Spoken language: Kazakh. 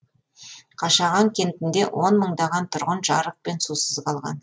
қашаған кентінде он мыңдаған тұрғын жарық пен сусыз қалған